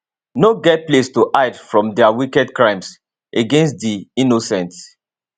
no get place to hide from dia wicked crimes against di innocent